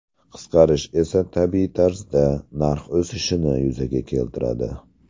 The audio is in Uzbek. Qisqarish esa, tabiiy tarzda, narx o‘sishini yuzaga keltiradi.